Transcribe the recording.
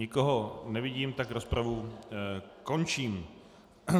Nikoho nevidím, tak rozpravu končím.